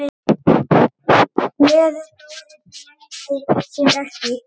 Gleði Þóris leyndi sér ekki.